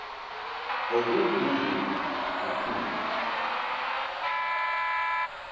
oku kuvula kakhulu